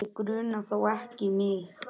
Þá grunar þó ekki mig?